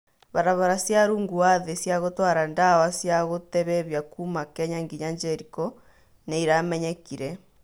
Barabara cia rungu wa thĩ cia gũtwara ndawa cia gũtebebia kuma Kenya nginya Jeriko nĩiramenyekire